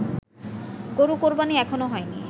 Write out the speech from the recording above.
গরু কোরবানি এখনও হয়নি